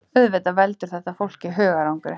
Auðvitað veldur þetta fólki hugarangri